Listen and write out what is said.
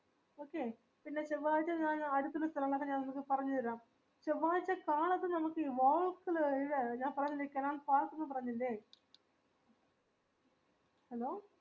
okay പിന്നെ ചെവ്വാഴ്ച്ച ഞാൻ അടുത്തുള്ള സ്ഥലങ്ങൾ ഒക്കെ ഞാൻ നിങ്ങക്ക് പറഞ്ഞു തരാം ചെവ്വാഴ്ച്ച കാലത്ത് നമക് ഈ ഞാൻ പറഞ്ഞില്ലേ ഈ canal falls ന്ന് പറഞ്ഞില്ലേ hello